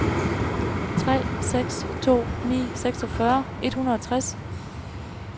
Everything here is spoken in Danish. tre seks to ni seksogfyrre et hundrede og tres